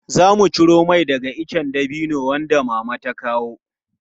Zamu ciro mai daga ice dabino wanda Mama ta kawo.